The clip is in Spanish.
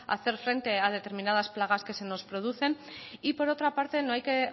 hacer frente a determinadas plagas que se nos producen y por otra parte no hay que